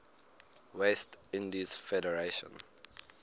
west indies federation